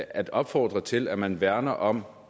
at opfordre til at man værner om